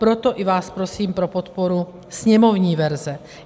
Proto i vás prosím za podporu sněmovní verze.